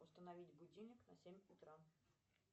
установить будильник на семь утра